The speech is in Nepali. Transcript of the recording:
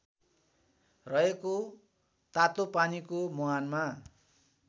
रहेको तातोपानीको मुहानमा